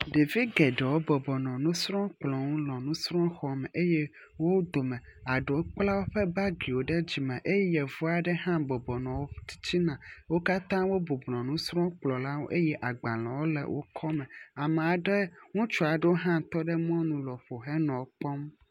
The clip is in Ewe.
Ɖevi geɖewo bɔbɔnɔ nusrɔ̃kplɔ nu nɔ nusrɔ̃xɔme eye wo dome eɖewo kpla woƒe bagiwo ɖe dzime eye yevu aɖe hã bɔbɔnɔ wo tsitsina. Wo katã wo bɔbɔnɔ nusrɔ̃kplɔ la ŋu eye agbalewo le wo kɔme. amea ɖe ŋutsu aɖe hã tɔ ɖe mɔnu lɔƒo henɔ kpɔm.